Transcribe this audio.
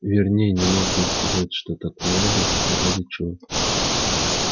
верней не мог ей сказать что так надо и ради чего